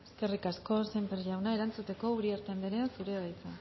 eskerrik asko sémper jauna erantzuteko uriarte anderea zurea da hitza